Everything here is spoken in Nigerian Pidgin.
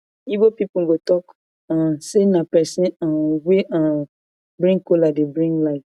igbo pipol go talk um say na pesin um wey um bring kola dey bring life